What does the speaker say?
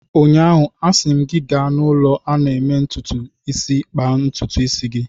Ụnyaahụ, a sị m gị, gaa n'ụlọ a na-eme ntụtụ isi kpaa ntụtụ gị!